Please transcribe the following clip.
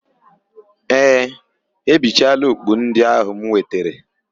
Ee, ha ebichaala okpu ndị áhụ̀ m wetere.